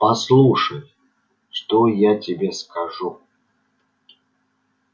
послушай что я тебе скажу